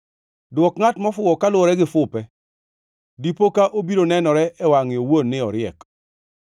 Dwok ngʼat mofuwo koluwore gi fupe, dipo ka obiro nenore e wangʼe owuon ni oriek.